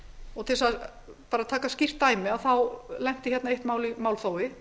og til að taka skýrt dæmi þá lenti eitt mál í málþófi